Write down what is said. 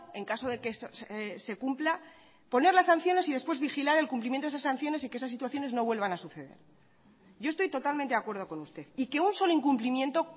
en caso de que se cumpla poner las sanciones y después vigilar el cumplimiento de esas sanciones y que esas situaciones no vuelvan a suceder yo estoy totalmente de acuerdo con usted y que un solo incumplimiento